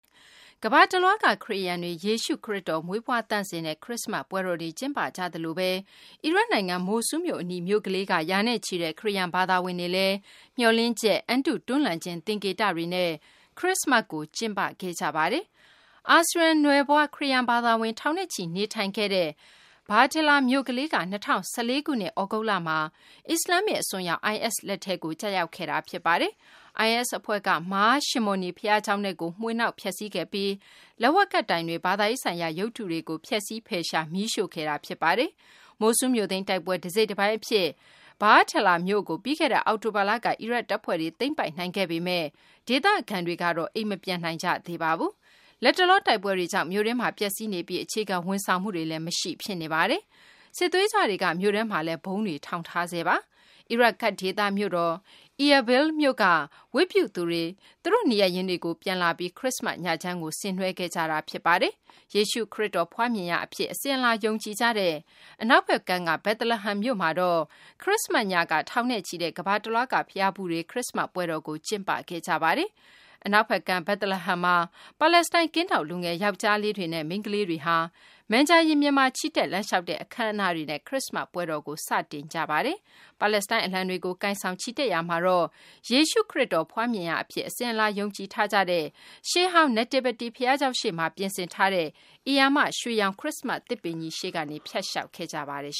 ကမ္ဘာတလွှားက ခရစ်ယာန်တွေ ယေရှုခရစ်တော် မွေးဖွား သန့်စင်တဲ့ ခရစ္စမတ် ပွဲတော်တွေ ကျင်းပကြသလိုဘဲ အီရတ်နိုင်ငံက မိုဆူးလ်မြို့ အနီး မြို့ကလေးက ရာနဲ့ချီတဲ့ ခရစ်ယာန် ဘာသာဝင်တွေလည်း မျှော်လင့်ချက်၊ အံတု တွန်းလှန်ခြင်း သင်္ကေတတွေနဲ့ ခရစ္စမတ်ကို ကျင်းပခဲ့ကြပါတယ်။ အာစရိယန်နွယ်ဖွား ခရစ်ယာန် ဘာသာဝင် ထောင်နဲ့ချီ နေထိုင်ခဲ့ရာ Bartella မြို့ကလေးက ၂၀၁၄ ခုနှစ် သြဂုတ်လမှာ အစ္စလာမ္မစ် အစွန်းရောက် IS လက်ကို ကျရောက်ခဲ့တာ ဖြစ်ပါတယ်။ IS အဖွဲ့က Mar Shimoni ဘုရားကျောင်းထဲကို မွှေနှောက် ဖျက်ဆီး ခဲ့ပြီး လက်ဝါးကပ်တိုင်တွေ၊ ဘာသာရေးဆိုင်ရာ ရုပ်တုတွေကို ဖျက်ဆီး ဖယ်ရှားပြီး မီးရှိုှုခဲ့တာ ဖြစ်ပါတယ်။ မိုဆူးလ်မြို့သိမ်းတိုက်ပွဲ တစိတ်တပိုင်း အဖြစ် Bartella မြို့ကို ပြီးခဲ့တဲ့ အောက်တိုဘာလက အီရတ် တပ်ဖွဲ့တွေ သိမ်းပိုက်နိုင်ခဲ့ပေမယ့် ဒေသခံတွေကတော့ အိမ်မပြန်နိုင်ကြသေးပါဘူး။ လတ်တလော တိုက်ပွဲတွေကြောင့် မြို့တွင်းမှာ ပျက်စီးနေပြီး အခြေခံ ဝန်ဆောင်မှုတွေလည်း မရှိ ဖြစ်နေပါတယ်။ စစ်သွေးကြွတွေက မြို့ထဲမှာလည်း ဗုံးတွေ ထောင်ထားတာပါ။ အီရတ် ကာဒ့် ဒေသမြို့တော် Irbil မြို့မှာ နေထိုင်နေကြတဲ့ Bartella ဒေသခံတွေ နေရပ်ရင်းတွေကို ပြန်လာပြီး ခရစ်စ္စမတ် ညချမ်းကို ဆင်နွဲခဲ့ကြတာ ဖြစ်ပါတယ်။ ယေရှု ခရစ်တော် ဖွားမြင်ရာ အဖြစ် အစဉ်အလာ ယုံကြည်ကြတဲ့ အနောက်ဘက်ကမ်းက Bethlehem မြို့မှာတော့ ခရစ်စ္စမတ်ညက ထောင်နဲ့ချီတဲ့ ကမ္ဘာ တလွှားက ဘုရားဖူးတွေ ခရစ္စမတ် ပွဲတော်ကို ကျင်းပခဲ့ကြပါတယ်။ အနောက်ဘက်ကမ်းက Bethlehem မှာ ပါလက်စတိုင်း ကင်းထောက်လူငယ် ယောက်ကျ်ားလေးနဲ့ မိန်းကလေးငယ်တွေဟာ Manger ရင်ပြင်မှာ ချီတက်လမ်းလျှောက်တဲ့ အခမ်းအနားတွေနဲ့ ခရစ္စမတ်ပွဲတော်ကို စတင်ဆင်နွှဲခဲ့ကြပါတယ်။ ပါလက်စတိုင်း အလံတွေကို ကိုင်ဆောင် ချီတက်ရာမှာတော့ယေရှုခရစ်တော် ဖွားမြင်ရာအဖြစ် အစဉ်အလာ ယုံကြည်ထားကြတဲ့ ရှေးဟောင်း Nativity ဘုရားကျောင်းရှေ့မှာ ပြင်ဆင်ထားတဲ့ ဧရာမ ရွှေရောင် ခရစ္စမတ် သစ်ပင်ရှေ့ကနေ ဖြတ်လျှောက်ခဲ့ကြပါတယ်